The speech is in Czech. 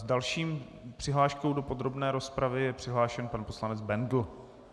S další přihláškou do podrobné rozpravy je přihlášen pan poslanec Bendl.